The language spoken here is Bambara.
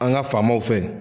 An ga famaw fɛ